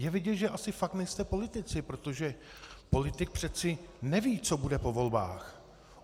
Je vidět, že asi fakt nejste politici, protože politik přece neví, co bude po volbách.